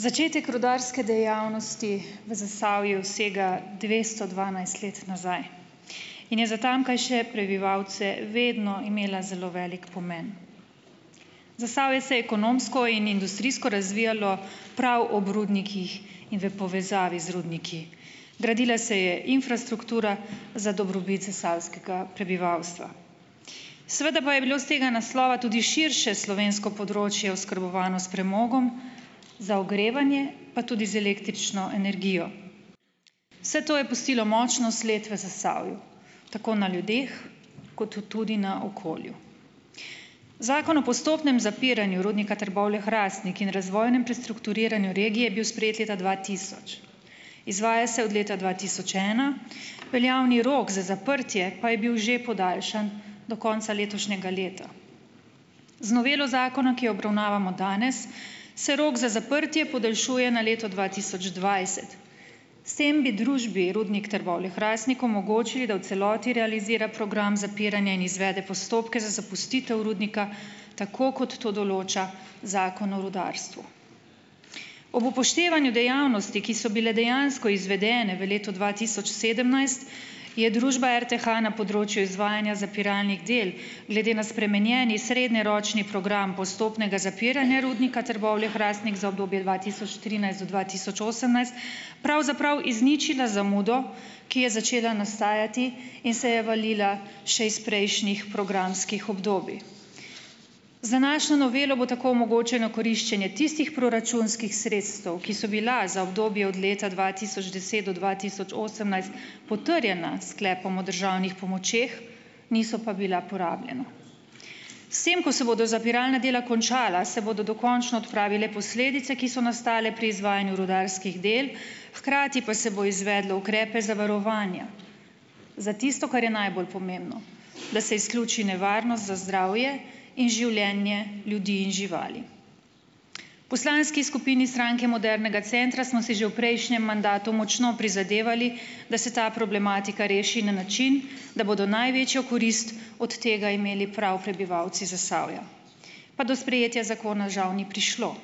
Začetek rudarske dejavnosti v Zasavju sega dvesto dvanajst let nazaj in je za tamkajšnje prebivalce vedno imela zelo velik pomen. Zasavje se je ekonomsko in industrijsko razvijalo prav ob rudnikih in v povezavi z rudniki. Gradila se je infrastruktura za dobrobit zasavskega prebivalstva. Seveda pa je bilo s tega naslova tudi širše slovensko področje oskrbovano s premogom, za ogrevanje pa tudi z električno energijo. Vse to je pustilo močno sled v Zasavju, tako na ljudeh kot tudi na okolju. Zakon o postopnem zapiranju Rudnika Trbovlje-Hrastnik in razvojnem prestrukturiranju regije je bil sprejet leta dva tisoč. Izvaja se od leta dva tisoč ena, veljavni rok za zaprtje pa je bil že podaljšan do konca letošnjega leta. Z novelo zakona, ki jo obravnavamo danes, se rok za zaprtje podaljšuje na leto dva tisoč dvajset. S tem bi družbi Rudnik Trbovlje-Hrastnik omogočili, da v celoti realizira program zapiranja in izvede postopke za zapustitev rudnika, tako kot to določa Zakon o rudarstvu. Ob upoštevanju dejavnosti, ki so bile dejansko izvedene v letu dva tisoč sedemnajst, je družba RTH na področju izvajanja zapiralnih del glede na spremenjeni srednjeročni program postopnega zapiranja rudnika Trbovlje-Hrastnik za obdobje dva tisoč trinajst do dva tisoč osemnajst pravzaprav izničila zamudo, ki je začela nastajati in se je valila še iz prejšnjih programskih obdobij. Za našo novelo bo tako omogočeno koriščenje tistih proračunskih sredstev, ki so bila za obdobje od leta dva tisoč deset do dva tisoč osemnajst, potrjena s sklepom o državnih pomočeh, niso pa bila porabljena. S tem, ko se bodo zapiralna dela končala, se bodo dokončno odpravile posledice, ki so nastale pri izvajanju rudarskih del, hkrati pa se bo izvedlo ukrepe zavarovanja, za tisto, kar je najbolj pomembno - da se izključi nevarnost za zdravje in življenje ljudi in živali. Poslanski skupini Stranke modernega centra smo si že v prejšnjem mandatu močno prizadevali, da se ta problematika reši na način, da bodo največjo korist od tega imeli prav prebivalci Zasavja, pa do sprejetja zakona žal ni prišlo.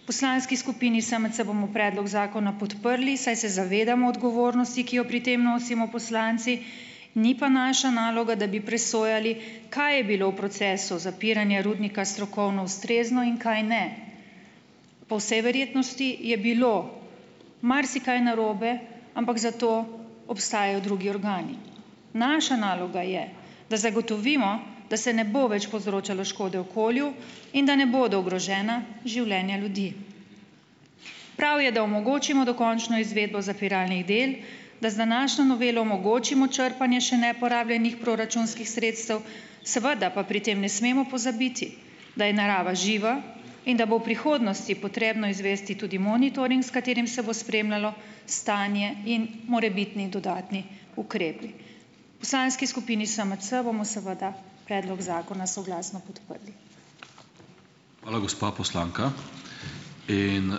V poslanski skupini SMC bomo predlog zakona podprli, saj se zavedamo odgovornosti, ki jo pri tem nosimo poslanci, ni pa naša naloga, da bi presojali, kaj je bilo v procesu zapiranja rudnika strokovno ustrezno in kaj ne. Po vsej verjetnosti je bilo marsikaj narobe, ampak za to obstajajo drugi organi. Naša naloga je, da zagotovimo, da se ne bo več povzročalo škode okolju in da ne bodo ogrožena življenja ljudi. Prav je, da omogočimo dokončno izvedbo zapiralnih del, da z današnjo novelo omogočimo črpanje še neporabljenih proračunskih sredstev, seveda pa pri tem ne smemo pozabiti, da je narava živa in da bo v prihodnosti potrebno izvesti tudi monitoring, s katerim se bo spremljalo stanje in morebitni dodatni ukrepi. Poslanski skupini SMC bomo seveda predlog zakona soglasno podprli.